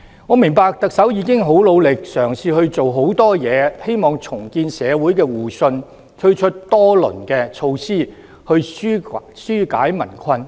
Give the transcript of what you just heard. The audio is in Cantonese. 我明白特首已經十分努力，嘗試做很多事情，希望重建社會互信，推出多輪措施紓解民困。